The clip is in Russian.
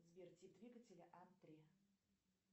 сбер тип двигателя ан три